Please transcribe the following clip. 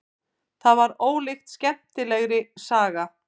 Það var ólíkt skemmtilegri saga.